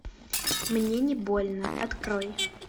мне не больно открой